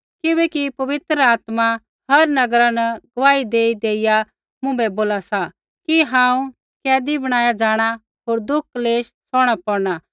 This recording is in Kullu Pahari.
किबैकि पवित्र आत्मा हर नगरा न गुआही देई देइया मुँभै बोला सा कि हांऊँ कैदी बनाया जाँणा होर दुःख क्लेश सौहणा पौड़णा